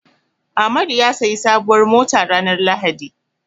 Amadu ya sayi sabuwar mota ranar lahadi.